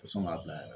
Fɔ sɔn m'a bila yɛrɛ